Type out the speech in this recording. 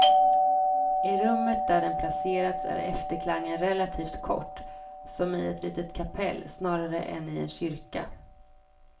I rummet där den placerats är efterklangen relativt kort, som i ett litet kapell snarare än i en kyrka.